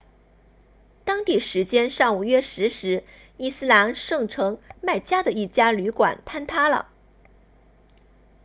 当地时间上午约十时伊斯兰圣城麦加的一家旅馆坍塌了